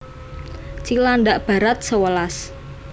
Cilandak Barat sewelas